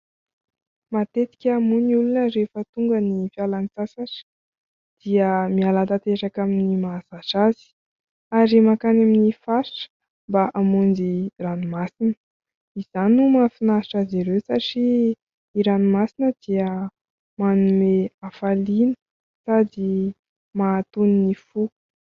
Matetika moa ny olona rehefa tonga ny fialan-tsasatra dia miala tanteraka amin'ny mahazatra azy ary mankany amin'ny faritra mba hamonjy ranomasina. Izany no mahafinaritra azy ireo satria ny ranomasina dia manome hafaliana sady mahatony ny fo.